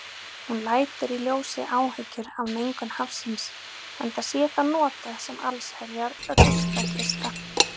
Hún lætur í ljósi áhyggjur af mengun hafsins, enda sé það notað sem allsherjar ruslakista.